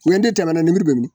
U ye den tɛmɛna nemuru bɛ min ?